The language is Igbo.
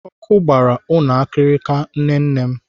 Ọkụ gbara ụlọ akirika nne nne m.